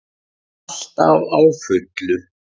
Alltaf á fullu.